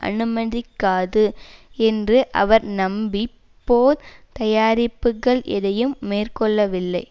அனுமதிக்காது என்று அவர் நம்பி போர் தயாரிப்புக்கள் எதையும் மேற்கொள்ளவில்லை